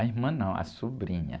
A irmã não, a sobrinha.